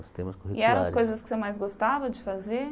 Os temas curriculares E eram as coisas que você mais gostava de fazer?